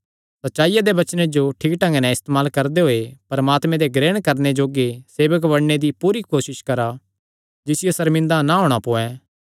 सच्चाईया दे वचने जो ठीक ढंगे नैं इस्तेमाल करदे होये परमात्मे दे ग्रहण करणे जोग्गे सेवक बणने दी पूरी कोसस करा जिसियो सर्मिंदा ना होणा पोयैं